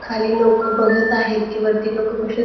खाली लोक बघत आहेत की वरती लोक कशे --